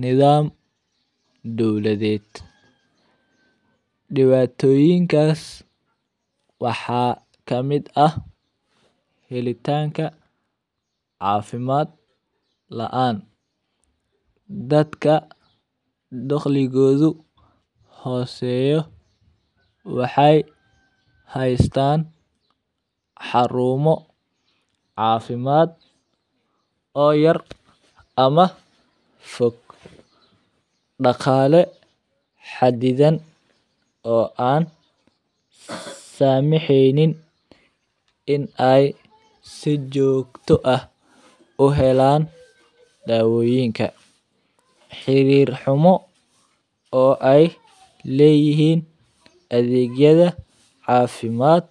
nidaam dowledeed. Dhibaatoyinkaas waxaa ka mida helaatanka caafimaad la'aan. Dadka dakhliguugu hooseeyo waxay haystaan xarumo, caafimaad oo yar ama fog, dhaqaale xaddidan oo aan samixiinin in ay sid joogto ah u helaan daawooyinka, xiriir xumo oo ay leeyihiin adeegyada caafimaad.